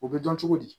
O bɛ dɔn cogo di